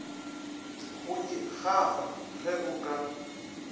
go ikgafa ge o ka